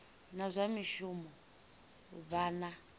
na zwa mishumo vha na